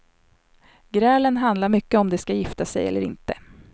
Grälen handlar mycket om de ska gifta sig eller inte.